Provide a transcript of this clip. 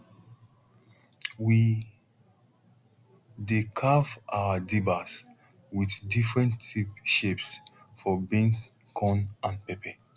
we dey carve our dibbers with different tip shapes for beans corn and pepper